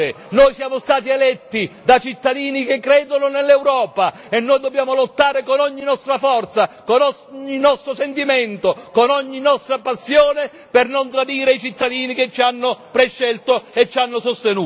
Noi siamo stati eletti da cittadini che credono nell'Europa e noi dobbiamo lottare con ogni nostra forza, con ogni nostro sentimento, con ogni nostra passione per non tradire i cittadini che ci hanno prescelto e ci hanno sostenuto.